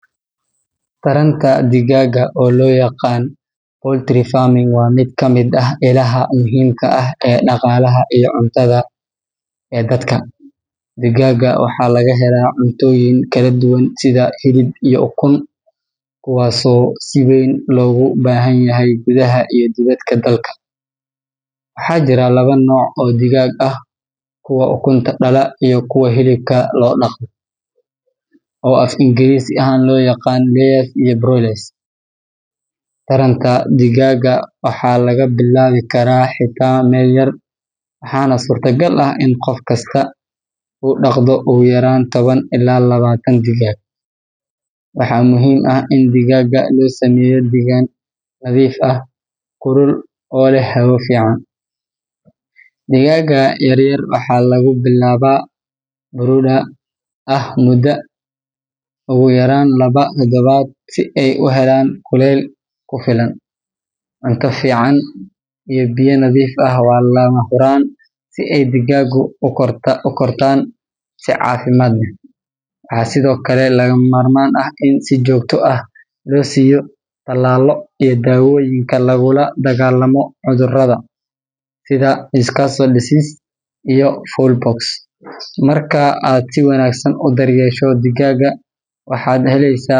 Korinta digaagga waa shaqo faa’iido badan leh oo ganacsi ahaan iyo cunno ahaanba muhiim u ah qoysas badan. Digaaggu wuxuu bixiyaa ukun iyo hilib, kuwaas oo labaduba muhiim u ah nafaqada. Marka la bilaabayo, waxaa muhiim ah in la diyaariyo meel nadiif ah oo ammaan ah oo ay digaaggu ku noolaan karaan. Waxaa lagu bilaabi karaa tiro yar, sida toban ama labaatan digaag, si loo fahmo habka xanaaneyntooda. Cuntada digaagga waa in ay noqotaa mid nafaqo leh, taasoo ka kooban protein, calcium, iyo vitamins, si ay u siiyaan ukun tayo leh. Sidoo kale, biyaha nadiifka ah waa in si joogto ah loo siiyaa. Digaagga yar-yar waxaa loo baahan yahay in la siiyo kuleyl gaar ah maalmaha ugu horreeya, gaar ahaan toddobaadyada ugu horreeya ee noloshooda, si aysan u dhaxan qabin. Nadaafadda goobta iyo la dagaallanka cudurrada sida Newcastle disease ama coccidiosis ayaa muhiim u ah badbaadada digaagga. Haddii si wanaagsan loo daryeelo, hal digaag ayaa sanadkii bixin kara ilaa soddon iyo lixdan.